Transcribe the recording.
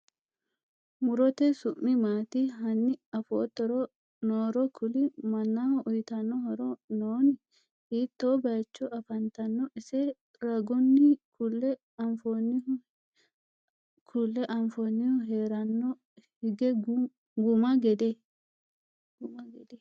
Murotte su'mi maatti? hanni afoottori nooro ku'li? Mannaho uyiittanno horo noonni? hitto bayiichcho affanttanno? ise ragunni kulle affanohu heeranno hige guma gede?